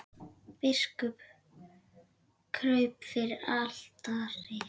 Biskup kraup fyrir altari.